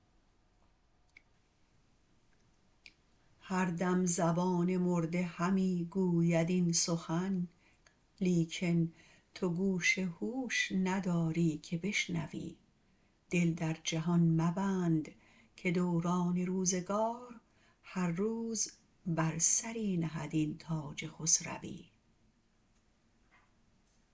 هر دم زبان مرده همی گوید این سخن لیکن تو گوش هوش نداری که بشنوی دل در جهان مبند که دوران روزگار هر روز بر سری نهد این تاج خسروی